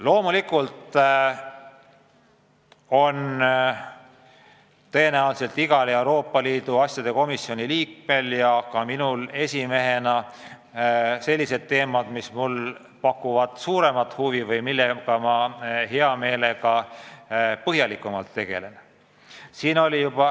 Loomulikult on minul Euroopa Liidu asjade komisjoni esimehena ja tõenäoliselt ka igal teisel komisjoni liikmel sellised teemad, mis pakuvad suuremat huvi või millega hea meelega põhjalikumalt tegeldakse.